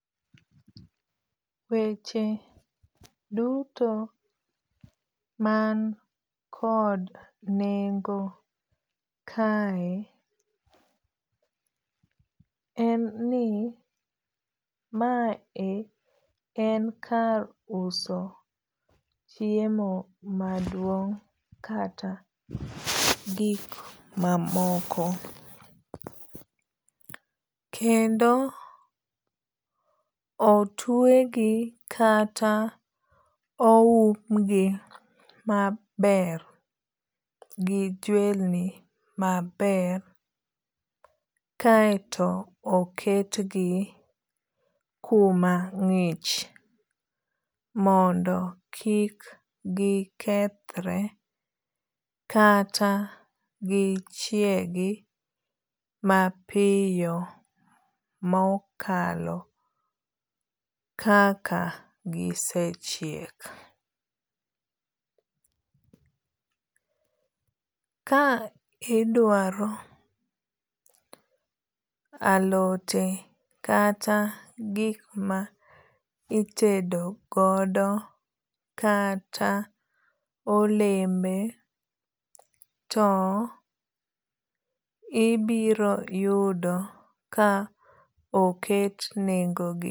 Weche duto man kod nengo kae en ni mae en kar uso chiemo maduong' kata gik mamoko. Kendo otwe gi kata oum gi maber gi jwelni maber kaeto oket gi kuma ng'ich mondo kik gikethre kata gichiegi mapiyo mokalo kaka gisechiek. Ka idwaro alote kata gik ma itedo godo kata olembe to ibiro yudo ka oket nengo gi.